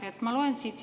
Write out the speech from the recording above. Aitäh!